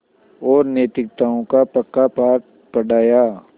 और नैतिकताओं का पक्का पाठ पढ़ाया